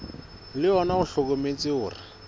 le ona o hlokometse hore